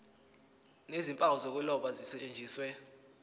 nezimpawu zokuloba zisetshenziswe